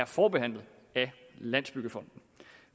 forbehandlet af landsbyggefonden